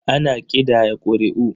Ana ƙidaya ƙuri'u.